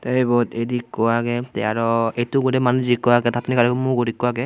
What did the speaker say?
tey ebot eidh ikko agey tey aro etto ugrey manus ikko agey tattun egarey mugot ikko agey.